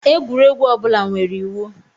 Egwuregwu ọ bụla nwere iwu.